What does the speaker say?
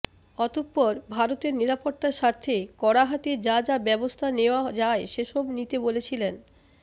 অতঃপর ভারতের নিরাপত্তার স্বার্থে কড়াহাতে যা যা ব্যবস্থা নেওয়া যায় সেসব নিতে বলেছিলেন